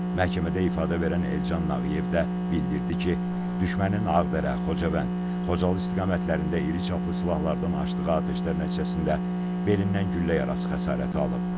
Məhkəmədə ifadə verən Elcan Nağıyev də bildirdi ki, düşmənin Ağdərə, Xocavənd, Xocalı istiqamətlərində iriçaplı silahlardan açdığı atəşlər nəticəsində belindən güllə yarası xəsarəti alıb.